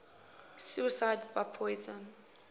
suicides by poison